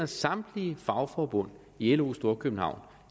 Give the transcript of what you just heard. samtlige fagforbund i lo storkøbenhavn